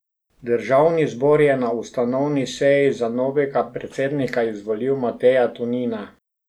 Državni zbor je na ustanovni seji za novega predsednika izvolil Mateja Tonina.